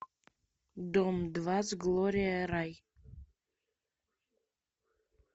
дом два с глория рай